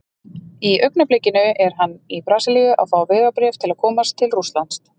Í augnablikinu er hann í Brasilíu að fá vegabréf til að komast til Rússlands.